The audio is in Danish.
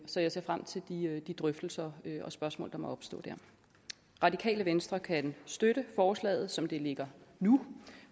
så jeg ser frem til de drøftelser og spørgsmål der må opstå der radikale venstre kan støtte forslaget som det ligger nu